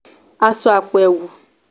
aṣọ àpò ẹ̀wù